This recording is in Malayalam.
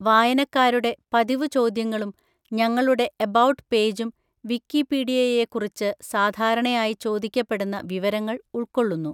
വായനക്കാരുടെ പതിവു ചോദ്യങ്ങളും ഞങ്ങളുടെ എബൗട്ട് പേജും വിക്കിപീഡിയയെക്കുറിച്ച് സാധാരണയായി ചോദിക്കപ്പെടുന്ന വിവരങ്ങൾ ഉൾക്കൊള്ളുന്നു.